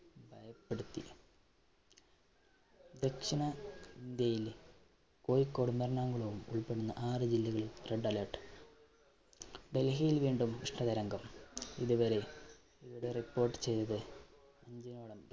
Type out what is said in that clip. ദക്ഷിണ ഇന്ത്യയിൽ കോഴിക്കോടും, എറണാകുളവും ഉള്‍പ്പെടുന്ന ആറു ജില്ലകളില്‍ red alert. ഡല്‍ഹിയില്‍ വീണ്ടും ഉഷ്ണ തരംഗം. ഇതുവരെ ഇതുവരെ റിപ്പോര്‍ട്ട്‌ ചെയ്തത്